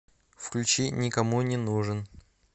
включи никому не нужен